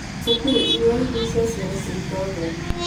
Cukuru ĩrĩa nĩ ya ciana cia itonga.